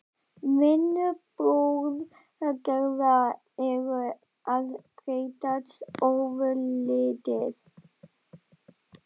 Vinnubrögð Gerðar eru að breytast ofurlítið.